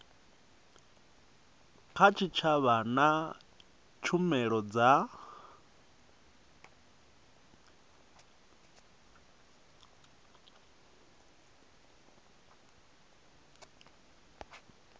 kha tshitshavha na tshumelo dza